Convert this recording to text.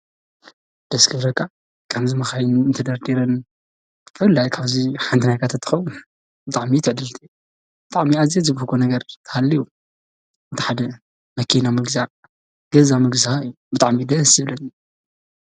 ደስ ክብለካ ! ከምዚ መካይን ተደርዲረን ብፍላይ ካብዚ ሓንቲ ናይካ እተትከውን ብጣዕሚ እዩ ትዕድልቲ ብጣዕሚ ኣዝየ ዝብህጎ ነገር እንተሃልዩ ሓደ መኪና ምግዛእ ፣ገዛ ምግዛእ እዩ ብጣዕሚ ደስ ዝብለኒ ።